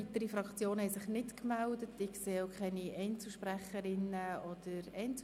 Es haben sich keine weiteren Fraktionen gemeldet und auch keine Einzelsprechenden.